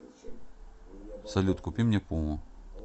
салют купи мне пуму